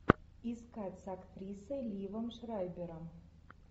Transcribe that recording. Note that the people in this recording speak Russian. искать с актрисой ливом шрайбером